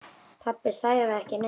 Pabbi sagði ekki neitt.